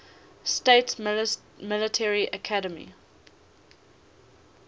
states military academy